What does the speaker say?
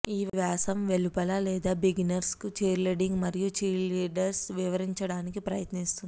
ఈ వ్యాసం వెలుపల లేదా బిగినర్స్ కు చీర్లీడింగ్ మరియు ఛీర్లీడర్లు వివరించడానికి ప్రయత్నిస్తుంది